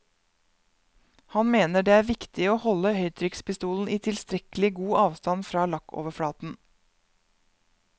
Han mener det er viktig å holde høytrykkspistolen i tilstrekkelig god avstand fra lakkoverflaten.